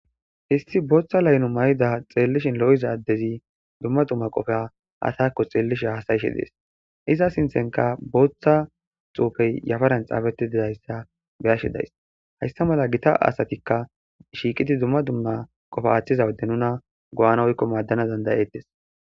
histi booththa laynu may7ida xeellishin lo7iza addezi dumma dumma qofea atakko xeellishe hasayishe dees iza sinthenka booththa xuufey yafaran xaafetididayssa beyashidays haysta mala gita asatikka shiiqidi dumma dumma qofe aaththiza wode nuna go7ana oykko maaddana dandayettes